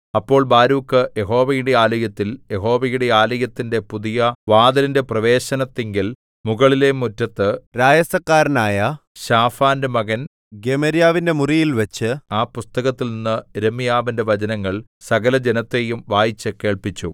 അപ്പോൾ ബാരൂക്ക് യഹോവയുടെ ആലയത്തിൽ യഹോവയുടെ ആലയത്തിന്റെ പുതിയ വാതിലിന്റെ പ്രവേശനത്തിങ്കൽ മുകളിലെ മുറ്റത്ത് രായസക്കാരനായ ശാഫാന്റെ മകൻ ഗെമര്യാവിന്റെ മുറിയിൽ വച്ച് ആ പുസ്തകത്തിൽനിന്ന് യിരെമ്യാവിന്റെ വചനങ്ങൾ സകലജനത്തെയും വായിച്ചു കേൾപ്പിച്ചു